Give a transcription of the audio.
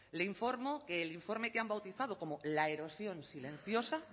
le informo que el informe que han bautizado como la erosión silenciosa